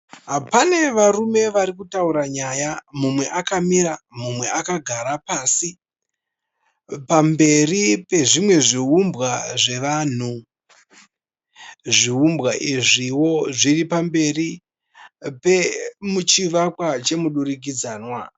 Pane varume varikutaura nyaya, mumwe akamira, mumwe akagara pasi, pamberi pezvimwe zviumbwa zvevanhu. Zviumbwa izviwo zviri pamberi pechivakwa chemudurikidzanwa.